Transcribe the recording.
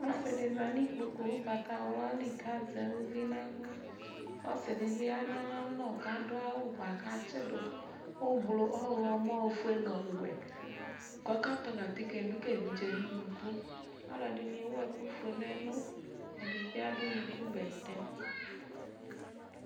Ɔsɩ dɩ za nʋ ikpoku ʋgbatawla li kʋ azɛ uvi nʋ aɣla Ɔsɩ dɩ bɩ ya nʋ ayalɔ kʋ adʋ awʋ bʋa kʋ atsɩdʋ oblo, ɔɣlɔmɔ, ofue nʋ ɔwɛ kʋ ɔkatɔlɔ atike dʋ ka evidze yɛ nʋ unuku Alʋɛdɩnɩ ewu ɛkʋfue nʋ ɛlʋ, ɛdɩ bɩ adʋ unukubɛtɛ